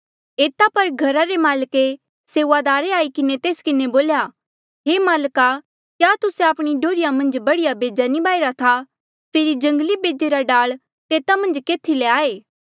एता पर घर माल्का रे सेऊआदारे आई किन्हें तेस किन्हें बोल्या हे माल्का क्या तुस्से आपणी डोहर्रिया मन्झ बढ़िया बेजा नी बाहिरा था फेरी जंगली बेजे रा डाल तेता मन्झ केथी ले आये